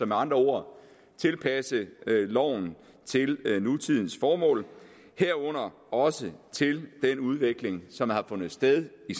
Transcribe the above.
med andre ord tilpasse loven til nutidens formål herunder også til den udvikling som har fundet sted i